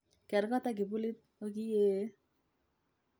Ker kot ak kibulit okiee.